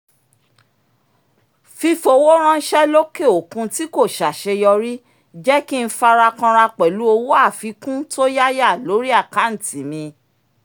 fífowó ránṣẹ́ lókè òkun tí kò ṣàṣeyọrí jẹ́ kí n fara kànra pẹ̀lú owó àfikún tó yáyà lórí àkántì mi